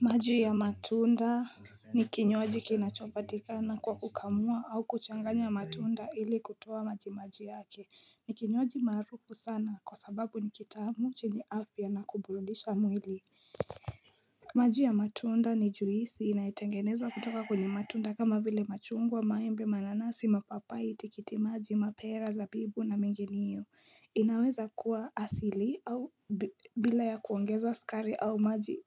Maji ya matunda ni kinywaji kinachopatika na kwa kukamua au kuchanganya matunda ili kutoa majimaji yake ni kinywaji maarufu sana kwa sababu nikitamu chini afya na kuburundisha mwili maji ya matunda ni juisi inaitengenezwa kutoka kuni matunda kama vile machungwa maimbe mananasi mapapai itikitimaji mapera za bibu na mgini iyo inaweza kuwa asili au bila ya kuongeza wa sukari au maji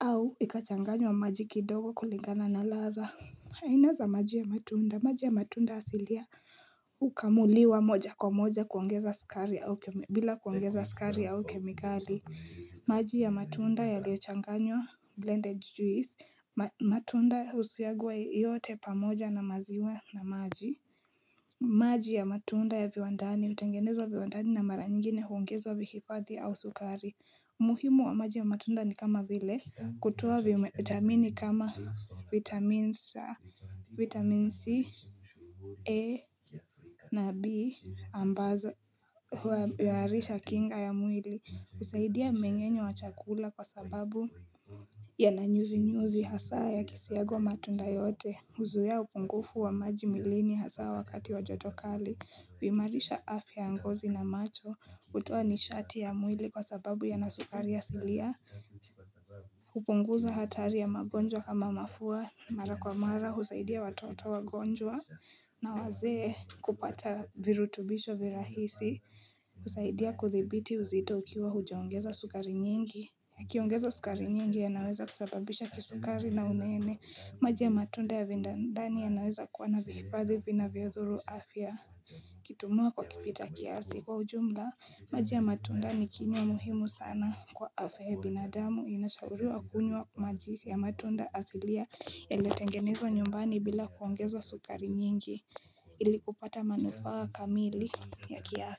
au ikachanganywa maji kidogo kuligana na latha haina za maji ya matunda, maji ya matunda asilia ukamuliwa moja kwa moja kuongeza skari au kemikali maji ya matunda ya liochanganywa blended juice, matunda usiagwa yote pamoja na maziwa na maji maji ya matunda ya viwandani utengenezwa viwandani na mara nyingine huungezwa vikifadhi au sukari muhimu wa maji ya matunda ni kama vile kutoa vitamini kama vitamin C A na B ambazo huwaarisha kinga ya mwili usaidia mmengenyo wa chakula kwa sababu Yananyuzi nyuzi hasaa ya kisiago wa matunda yote Huzia ya upungufu wa maji mwilini hasaa wakati wa joto kali kuimarisha afya angozi na macho kutuwa ni shati ya mwili kwa sababu ya nasukari ya silia kupunguza hatari ya magonjwa kama mafua mara kwa mara husaidia watoto wagonjwa na wazee kupata virutubisho virahisi kusaidia kuthibiti uzito ukiwa hujaongeza sukari nyingi Kiongeza sukari nyingi ya naweza kusababisha kisukari na unene maji ya matunde ya vindandani ya naweza kuwana vifadhi vina viodhuru afya Kitumua kwa kipita kiasi kwa ujumla maji ya matunda ni kiniwa muhimu sana kwa afehe binadamu inashaurua kunywa maji ya matunda asilia ya iletengenezwa nyumbani bila kuongezwa sukari nyingi ili kupata manufaa kamili ya kiafe.